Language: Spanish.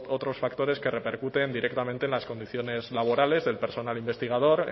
otros factores que repercuten directamente en las condiciones laborales del personal investigador